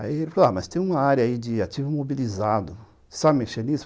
Aí ele falou ah, mas tem uma área aí de ativo imobilizado, você sabe mexer nisso?